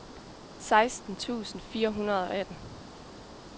seksten tusind fire hundrede og atten